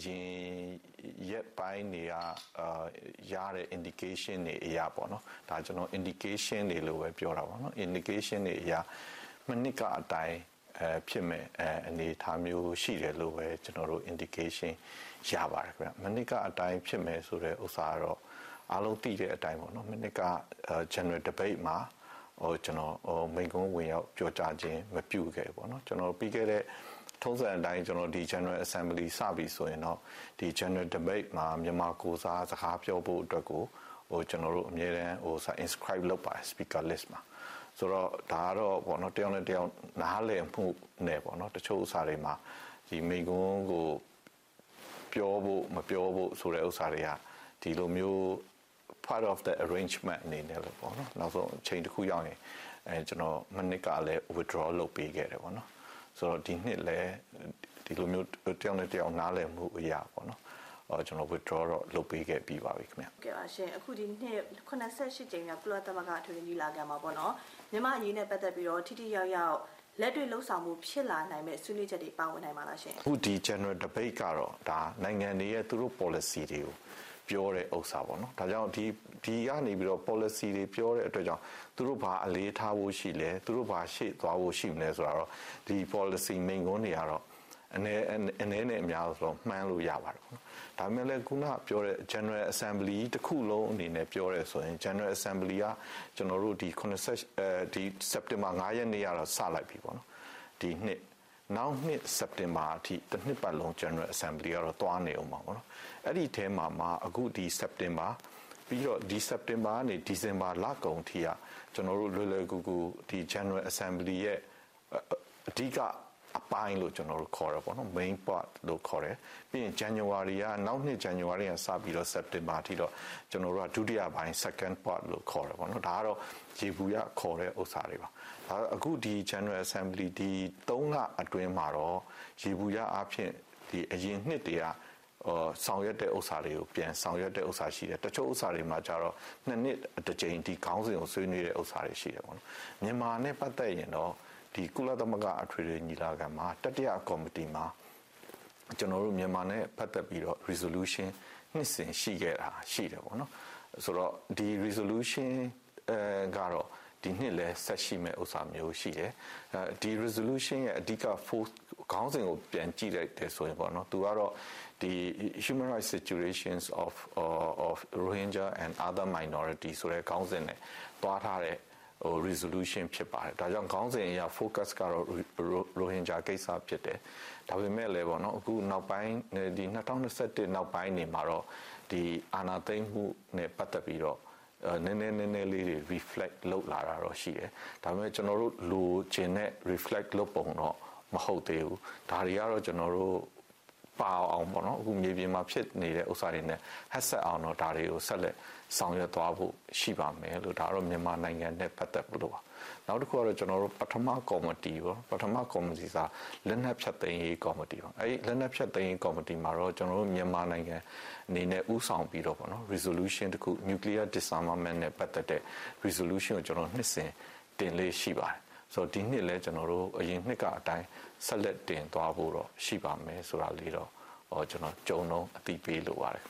ရင်ရက်ပိုင်းတွေကရတဲ့ indications တွေအရပေ့ါနော်။ ဒါ..ကျနော် indications တွေလို့ပဲ ပြောတာပေါ့နော်၊ indication တွေအရ မနှစ်ကအတိုင်းဖြစ်မယ့်အနေအထားမျိုးရှိတယ်လို့ပဲ ကျနော်တို့ indication ရပါတယ်ဗျ။ မနှစ်ကအတိုင်းဖြစ်မယ်ဆိုတဲ့ဥစ္စာကတော့ အားလုံးသိတဲ့အတိုင်းပေါ့နော်။ မနှစ်က general debate မှာ ကျနော် မိန့်ခွန်းဝင်ရောက်ပြောကြားခြင်း မပြုခဲ့ဘူးပေါ့နော်။ ထုံးစံအတိုင်း general assembly စပြီဆိုရင် တော့ general debate မှာ မြန်မာကိုယ်စားစကားပြောဖို့ကို ကျနော်တို့အမြဲတမ်း inscribe လုပ်ပါတယ်။ speaker list ပါ။ ဒါကတော့ တယောက်နဲ့တယောက် နားလည်မှုနဲ့ တချို့ ဥစ္စာတွေမှာ မိန့်ခွန်းကိုပြောဖို့၊ မပြောဖို့ဆိုတဲ့ဥစ္စာတွေက ဒီလိုမျိုး part of the arrangement အနေနဲ့ ပေါ့နော်၊ ကျနော်...အချိန်တခုရောက်ရင် မနှစ်ကလည်း withdraw လုပ်ပေးခဲ့တယ်ပေါ့နော်။...ဆိုတော့ ဒီနှစ်လည်း ဒီလိုမျိုး တယောက်နဲ့တယောက် နားလည်မှုအရ withdraw တော့ လုပ်ပေးခဲ့ပြီးပါပြီခင်ဗျ။ ဟုတ်ကဲ့ပါရှင့်။ အခု ၇၈ ကြိမ်မြောက် ကုလအထွေထွေညီလာခံမှာပေါ့နော်၊ မြန်မာ့အရေးနဲ့ပတ်သက်ပြီးတော့ ထိထိရောက်ရောက် လက်တွေ့လုပ်ဆောင်မှု ဖြစ်လာနိုင်မယ့် ဆွေးနွေးချက်တွေ ပါဝင်လာနိုင်ပါလားရှင့်။ အခု general debate ကတော့ နိုင်ငံတွေရဲ့ သူတို့ ပေါ်လစီတွေကို ပြောတဲ့ဥစ္စာပေါ့နော်။ ဒါကြောင့် ဒီကနေပြီး ပေါ်လစီတွေ ပြောတဲ့အတွက်ကြောင့် သူတို့ဘာအလေးထားဖို့ရှိလဲ။ သူတို့ ဘာ ရှေ့သွားဖို့ရှိလဲဆိုတာကတော့ ဒီ ပေါ်လစီမိန့်ခွန်းတွေကတော့ အနည်းနဲ့အများတော့ မှန်းလို့ရပါတယ်။ ဒါပေမဲ့လည်း အခုနကပြောတဲ့ general assembly ကြီးတခုလုံးအနေနဲ့ပြောတယ်ဆိုလို့ရှိရင် general assembly က စက်တင်ဘာလ ၅ ရက်နေ့ကစလိုက်ပြီ။ နောက်နှစ်စက်တင်ဘာအထိ တနှစ်ပတ်လုံး general assembly ကတော့ သွားနေဦးမှာပဲ။ အဲဒီအထဲမှာမှ အခု ဒီ စက်တင်ဘာ၊ ပြီးတော့ ဒီ စက်တင်ဘာကနေ ဒီဇင်ဘာလကုန်အထိက ကျနော်တို့ လွယ်လွယ်ကူကူ ဒီ general assembly ရဲ့ အဓိကအပိုင်းလို့ခေါ်တာပေါ့နော်၊ Main part လို့ခေါ်တယ်။ ပြီးရင် နောက်နှစ် ဇန်နဝါရီကနေစပြီးတော့ စက်တင်ဘာအထိကတော့ Second part လို့ခေါ်တယ်။ ဒါကတော့ ယေဘုယျခေါ်တဲ့ဥစ္စာတွေပါ။ အခု ဒီ general assembly ဒီသုံးလအတွင်းမှာတော့ ယေဘုယျအားဖြင့် အရင်နှစ်တွေက ဆောင်ရွက်တဲ့ဥစ္စာတွေကို ပြန်ဆောင်ရွက်တဲ့ဥစ္စာ ရှိတယ်။ တချို့ဥစ္စာတွေမှာကျတော့ ၂နှစ်တကြိမ် ဒီခေါင်းစဥ်ကို ဆွေးနွေးတာရှိတယ်။ မြန်မာနဲ့ပတ်သက်ရင်တော့ ကုလသမဂ္ဂအထွေထွေညီလာခံမှာ တတိယကော်မတီမှာ ကျနော်တို့ မြန်မာနဲ့ပတ်သက်ပြီးတော့ resolution နှစ်စဥ်ရှိတယ်ပေါ့နော်။ ဒီ resolution ကတော့ ဒီနှစ်လည်း ဆက်ရှိမယ့်ဥစ္စာမျိုးရှိတယ်။ ဒီ resolution ရဲ့ focus -အဓိကခေါင်းစဥ်ကိုပြန်ကြည့်လိုက်တယ်ဆိုရင် သူကတော့ human rights situation of Rohingya and other minorities ဆိုတဲ့ခေါင်းစဥ်နဲ့ သွားထားတဲ့ resolution ဖြစ်ပါတယ်။ ဒါကြောင့်မို့လို့ ခေါင်းစဥ်ရဲ့ focus ကတော့ ရိုဟင်ဂျာကိစ္စဖြစ်တယ်။ ဒါပေမဲ့လည်းပေါ့နော်-အခု ၂၀၂၁ နောက်ပိုင်းတွေမှာတော့ အာဏာသိမ်းမှုနဲ့ပတ်သက်ပြီးတော့ နည်းနည်း...နည်းနည်းလေးတွေ reflect လုပ်လာတာ ရှိတယ်။ ဒါပေမဲ့ ကျနော်တို့လိုချင်တဲ့ reflect လုပ်ပုံတော့ မဟုတ်သေးဘူး။ ဒါတွေကတော့ ပါအောင်ပေါ့နော်။ အခု ကျနော်တို့ မြေပြင်မှာဖြစ်နေတဲ့ဥစ္စာတွေနဲ့ အပ်စပ်အောင်တော့ ဆက်လက်ဆောင်ရွက်သွားဖို့ ရှိပါမယ်လို့...ဒါကတော့ မြန်မာနိုင်ငံနဲ့ပတ်သက်လို့ ပေါ့။ နောက်တခုကတော့ ပထမကော်မတီပေါ့။ ပထမကော်မတီဆိုတာ လက်နက်ဖျက်သိမ်းရေးကော်မတီပါ။ အဲဒီ လက်နက်ဖျက်သိမ်းရေးကော်မတီမှာတော့ ကျနော်တို့ မြန်မာနိုင်ငံအနေနဲ့ဦးဆောင်ပြီးတော့ resolution တခု၊ nuclear disarmament နဲ့ပတ်သက်တဲ့ resolution ကို ကျနော် နှစ်စဥ်တင်လေ့ရှိပါတယ်။ ဆိုတော့...ဒီနှစ်လည်း ကျနော်တို့ အရင်နှစ်ကအတိုင်း ဆက်လက်တင်သွားဖို့တော့ ရှိပါမယ်ဆိုတာလေးတော့ ကြုံတုန်း ကျနော် အသိပေးလိုပါတယ်ခ